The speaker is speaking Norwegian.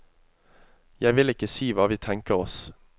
Jeg vil ikke si hva vi tenker oss.